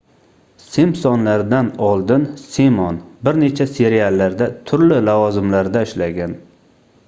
"simpsonlar"dan oldin simon bir necha seriallarda turli lavozimlarda ishlagan